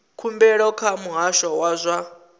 khumbelo kha muhasho wa zwa